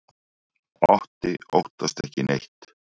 Otti óttast ekki neitt!